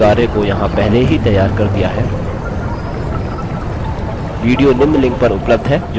मैंने इस नियतकार्य को यहाँ पहले ही तैयार कर दिया है